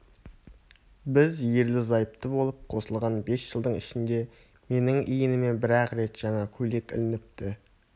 біз ерлі-зайыпты болып қосылған бес жылдың ішінде менің иініме бір-ақ рет жаңа көйлек ілініпті